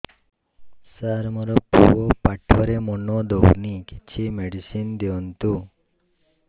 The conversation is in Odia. ସାର ମୋର ପୁଅ ପାଠରେ ମନ ଦଉନି କିଛି ମେଡିସିନ ଦିଅନ୍ତୁ